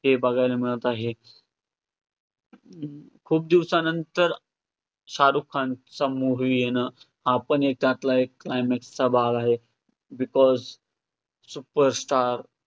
हे बघायला मिळतं आहे. खूप दिवसानंतर शाहरुख खानचा movie येणं, हा पण त्यातला एक climax चा भाग आहे, because super star